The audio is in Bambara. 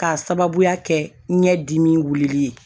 K'a sababuya kɛ ɲɛdimi wulili ye